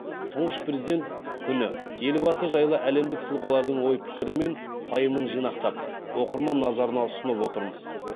тұңғыш президент күні елбасы жайлы әлемдік тұлғалардың ой пікірі мен пайымын жинақтап оқырман назарына ұсынып отырмыз